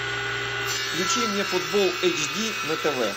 включи мне футбол эйч ди на тв